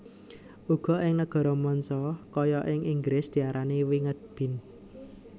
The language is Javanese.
Uga ing Nagara manca kaya ing Inggris diarani winged bean